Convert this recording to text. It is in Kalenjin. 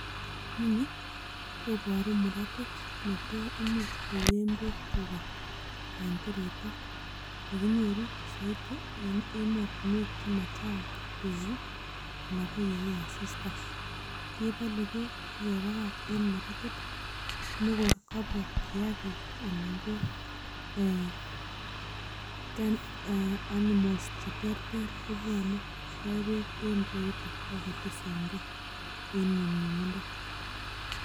Inoni koboru muratit ne to imuch koen beek tuga en tirita ne kinyoru soiti en emotinwegek che machang beek anan ko ye wo asista. Kebole beek ak kebagach en muratit ne kot kabwa kiyagik anan ko animals che terter kobwone kot koe beek en ireyuto ak tisenke en nyumnyumindo